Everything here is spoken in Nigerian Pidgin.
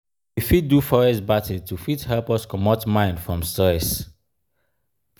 we fit do forest bathing to fit help us comot mind from stress